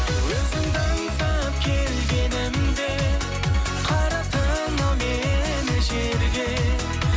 өзіңді аңсап келгенімде қараттың ау мені жерге